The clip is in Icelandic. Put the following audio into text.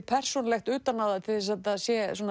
persónulegt utan á það til að þetta sé